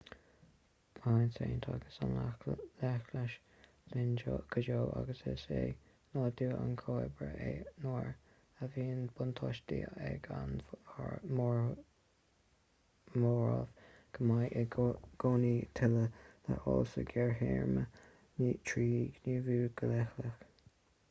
beidh an tsaint agus an leithleachas linn go deo agus is é nádúr an chomhoibrithe é nuair a bhíonn buntáiste ag an móramh go mbeidh i gcónaí tuilleadh le fáil sa ghearrthéarma trí ghníomhú go leithleach